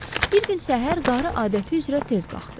Bir gün səhər qarı adəti üzrə tez qalxdı.